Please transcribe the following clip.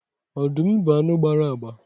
Ọdụm bụ anụ gbara agba